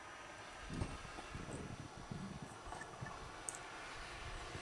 timiraki emebeku ino iltungana looinyangu pemetum hasara te kikesawoo endaa nainyala